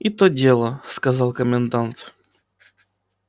и то дело сказал комендант